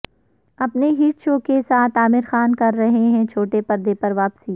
اپنے hit show کے ساتھ عامر کررہے ہیں چھوٹے پردے پر واپسی